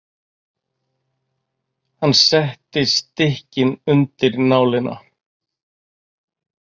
Hann setti stykkin undir nálina.